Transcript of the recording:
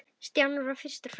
Stjáni varð fyrstur fram.